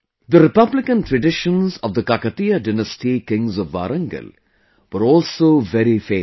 The republican traditions of the Kakatiya dynasty kings of Warangal were also very famous